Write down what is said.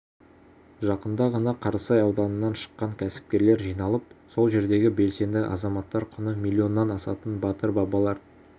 жақында ғана қарасай ауданынан шыққан кәсіпкерлер жиналып сол жердегі белсенді азаматтар құны миллионнан асатын батыр бабалар